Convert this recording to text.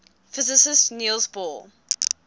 physicist niels bohr